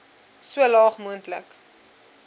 so laag moontlik